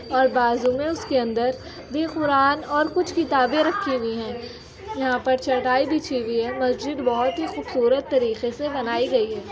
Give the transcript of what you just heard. और बाजू में उसके अन्दर विपुराण और कुछ किताबें रखी हुई है। यहाँ पर चटाई बिछी हुई है। मस्जिद बोहत ही खूबसूरत तरीके से बनाई गई है।